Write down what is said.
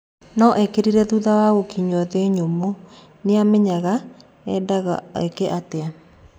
No okerire thutha wa gũkinywa nthĩ nyumũ, Nĩamenyaga endago eke atĩa.